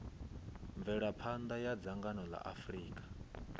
mvelaphanḓa ya dzhango ḽa afurika